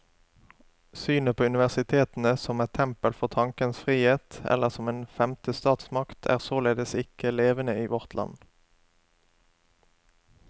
Synet på universitetene som et tempel for tankens frihet, eller som en femte statsmakt, er således ikke levende i vårt land.